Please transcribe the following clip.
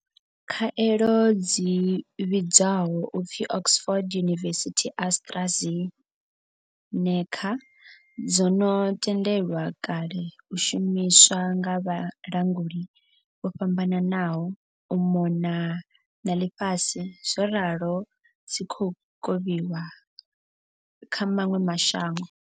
Khaelo dzi vhidzwaho u pfi Oxford University-AstraZeneca dzo no tendelwa kale u shumiswa nga vhalanguli vho fhambananaho u mona na ḽifhasi zworalo dzi khou kovhiwa kha maṅwe ma shango.